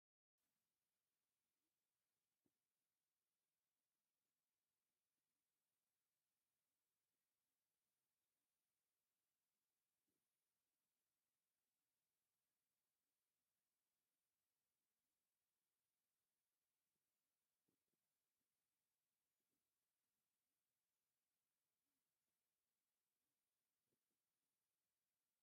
እዚ “ትራይደንት” ዝብል ጽሑፍ ዘለዎ ጥዑም ጃም ዘርኢ እዩ። ብላዕልን ታሕትን ብኣራንሺን ፍኹስ ዝበለ ሰማያውን ዝተሸፈነ ኮይኑ፡ ኣብ ላዕሊ ከም ኣራንሺ፡ ኪዊን ማንጎን ዝኣመሰሉ ምስልታት ፍረታት ኣለዉ። ደስ ዘብልን ኣዝዩ መኣዛ ዘለዎን ምንቅስቓስ ዘርኢ እዩ።